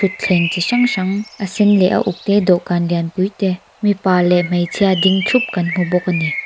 thleng chi hrang hrang a sen leh a uk te dawhkan lian pui te mipa leh hmeichhia ding thup kan hmu bawk a ni.